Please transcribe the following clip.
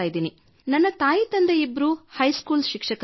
ನನ್ನ ತಾಯಿ ತಂದೆ ಇಬ್ಬರೂ ಹೈ ಸ್ಕೂಲ್ ಶಿಕ್ಷಕರಾಗಿದ್ದಾರೆ